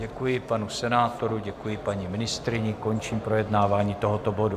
Děkuji panu senátorovi, děkuji paní ministryni, končím projednávání tohoto bodu.